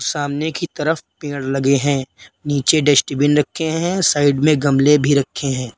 सामने की तरफ पेड़ लगे हैं नीचे डस्टबिन रखे हैं साइड में गमले भी रखे हैं।